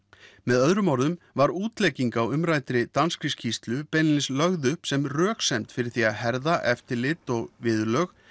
með öðrum orðum var útlegging á umræddri danskri skýrslu beinlínis lögð upp sem röksemd fyrir því að herða eftirlit og viðurlög